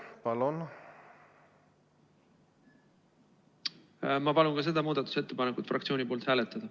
Ma palun fraktsiooni nimel ka seda muudatusettepanekut hääletada.